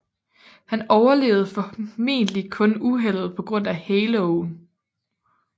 Han overlevede formentlig kun uheldet på grund af haloen